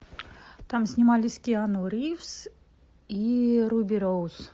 там снимались киану ривз и руби роуз